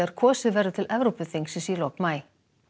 kosið verður til Evrópuþingsins í lok maí